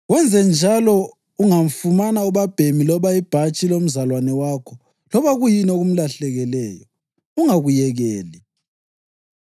Wenzenjalo ungafumana ubabhemi loba ibhatshi lomzalwane wakho loba kuyini okumlahlekeleyo. Ungakuyekeli.